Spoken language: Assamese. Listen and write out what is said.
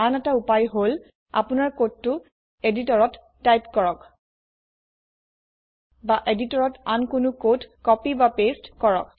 আন এটা উপায় হল আপোনাৰ কোডটো এদিটৰত টাইপ কৰক বা এদিটৰত আন কোনো কোড copyপাঁচতে কৰক